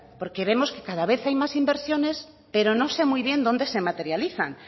vemos que cada vez hay más inversiones pero no sé muy bien dónde se materializan